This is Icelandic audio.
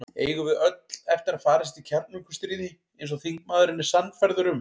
Eigum við öll eftir að farast í kjarnorkustríði, eins og þingmaðurinn er sannfærður um?